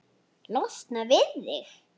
Losna við þig?